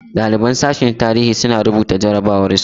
Ɗaliban sashen tarihi suna rubuta jarabawar su.